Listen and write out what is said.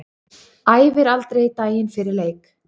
Æfir aldrei daginn fyrir leik.